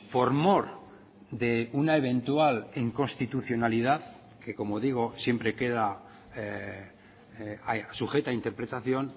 por mor de una eventual inconstitucionalidad que como digo siempre queda sujeta a interpretación